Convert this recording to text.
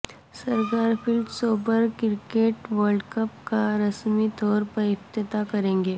Sir Garfield Sobers cricket world cup کا رسمی طور پر افتتاح کریں گے